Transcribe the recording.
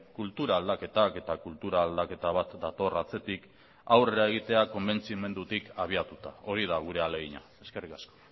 kultura aldaketak eta kultura aldaketa bat dator atzetik aurrera egitea konbentzimendutik habiatuta hori da gure ahalegina eskerrik asko